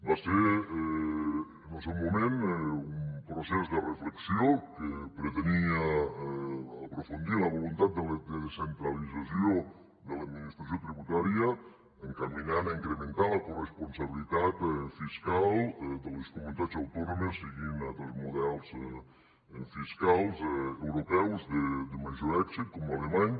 va ser en el seu moment un procés de reflexió que pretenia aprofundir en la voluntat de descentralització de l’administració tributària encaminada a incrementar la coresponsabilitat fiscal de les comunitats autònomes seguint altres models fiscals europeus de major èxit com l’alemany